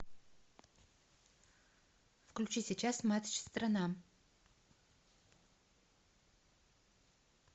включи сейчас матч страна